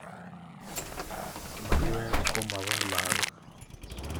Maiwek komapo lagok